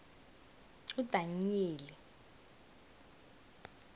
udanyeli